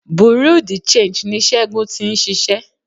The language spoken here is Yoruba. Bureau de change ní Ségun ti ń ṣiṣẹ́.